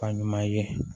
Fa ɲuman ye